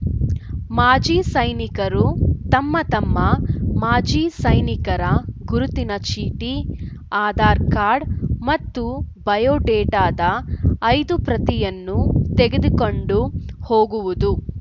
ಮಾಜಿ ಸೈನಿಕರು ತಮ್ಮ ತಮ್ಮ ಮಾಜಿ ಸೈನಿಕರ ಗುರುತಿನ ಚೀಟಿ ಆಧಾರ್‌ ಕಾರ್ಡ್‌ ಮತ್ತು ಬಯೋಡೇಟಾದ ಐದು ಪ್ರತಿಯನ್ನು ತೆಗೆದುಕೊಂಡು ಹೋಗುವುದು